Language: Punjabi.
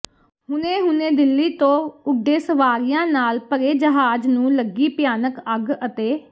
ਹੁਣੇ ਹੁਣੇ ਦਿੱਲ੍ਹੀ ਤੋਂ ਉਡੇ ਸਵਾਰੀਆਂ ਨਾਲ ਭਰੇ ਜਹਾਜ ਨੂੰ ਲਗੀ ਭਿਆਨਕ ਅੱਗ ਅਤੇ